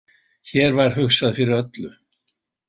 Hér var hugsað fyrir öllu.